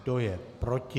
Kdo je proti?